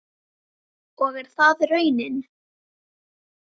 Og er það raunin?